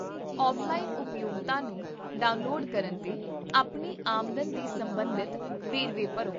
offline ਉਪਯੋਗਤਾ ਨੂੰ download ਕਰਨ 'ਤੇ, ਆਪਣੀ ਆਮਦਨ ਦੇ ਸੰਬੰਧਿਤ ਵੇਰਵੇ ਭਰੋ